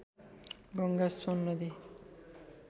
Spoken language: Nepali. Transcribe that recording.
गङ्गा सोन नदी